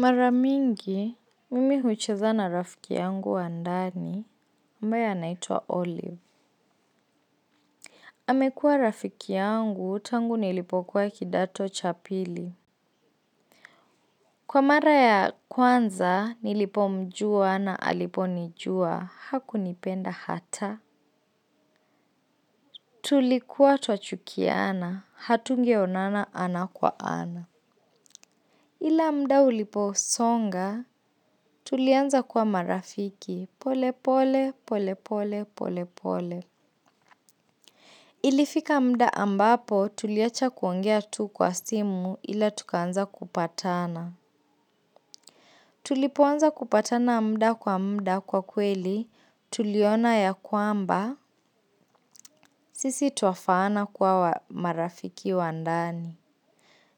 Mara nyingi, mimi hucheza na rafiki yangu wa ndani, ambaye anaitwa Olive. Amekuwa rafiki yangu, tangu nilipokuwa kidato cha pili. Kwa mara ya kwanza, nilipomjua na aliponijua, hakunipenda hata. Tulikuwa twachukiana, hatungeonana ana kwa ana. Ila muda ulivyosonga, tulianza kwa marafiki pole pole, pole pole, pole pole. Ilifika muda ambapo tuliacha kuongea tu kwa simu, ila tukaanza kupatana. Tulipoanza kupatana muda kwa muda, kwa kweli tuliona ya kwamba sisi twafaana kuwa marafiki wa ndani.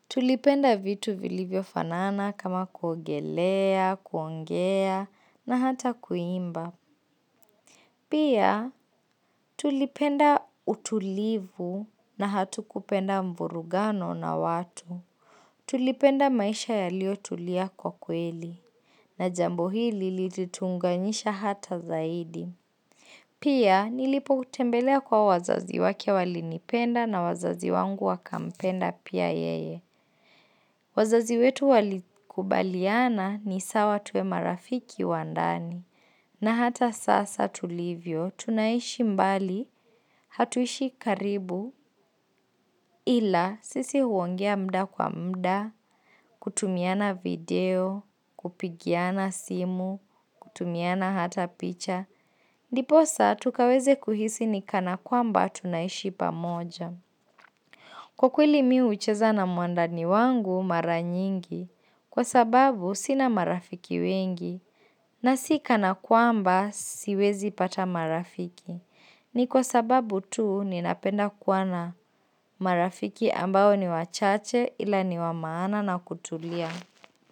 Tulipenda vitu vilivyofanana kama kuogelea, kuongea na hata kuimba. Pia tulipenda utulivu na hatu kupenda mburugano na watu. Tulipenda maisha yaliyotulia kwa kweli na jambo hili lilituunganisha hata zaidi. Pia nilipomtembelea kwa wazazi wake, walinipenda, na wazazi wangu wakampenda pia yeye. Wazazi wetu walikubaliana ni sawa tuwe marafiki wa ndani, na hata sasa tulivyo, tunaishi mbali, hatuishi karibu, ila sisi huongea muda kwa muda, kutumiana video, kupigiana simu, kutumiana hata picha, ndiposa tukaweze kuhisi ni kana kwamba tunaishi pamoja. Kwa kweli mimi hucheza na mwandani wangu mara nyingi kwa sababu sina marafiki wengi na sikana kwamba siwezi pata marafiki. Ni kwa sababu tu ninapenda kuwa na marafiki ambao ni wachache ila ni wa maana na kutulia.